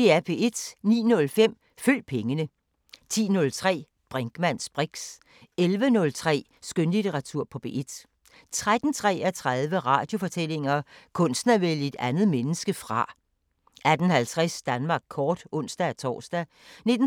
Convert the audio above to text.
09:05: Følg pengene 10:03: Brinkmanns briks 11:03: Skønlitteratur på P1 13:33: Radiofortællinger: Kunsten at vælge et andet menneske fra 18:50: Danmark kort (ons-tor) 19:33: